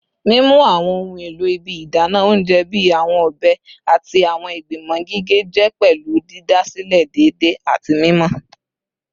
Mimu awọn ohun elo ibi idana ounjẹ bii awọn ọbẹ ati awọn igbimọ gige jẹ pẹlu didasilẹ deede ati mimọ